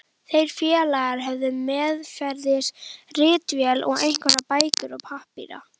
Þeir félagar höfðu meðferðis ritvél og einhverjar bækur og pappíra.